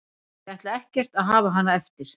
Ég ætla ekkert að hafa hana eftir.